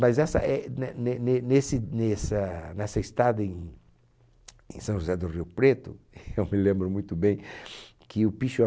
Mas essa é né ne ne nesse nessa nessa estada em em São José do Rio Preto, eu me lembro muito bem que o